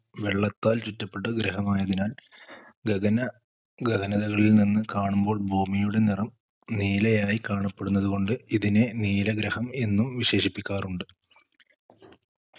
വെള്ളത്താൽ ചുറ്റപ്പെട്ട ഗ്രഹമായതിനാൽ ഗഗന ഗഗനതകളിൽ നിന്ന് കാണുമ്പോൾ ഭൂമിയുടെ നിറം നീലയായി കാണപ്പെടുന്നത് കൊണ്ട് ഇതിനെ നീല ഗ്രഹം എന്നും വിശേഷിപ്പിക്കാറുണ്ട്